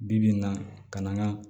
Bi bi in na ka na n ga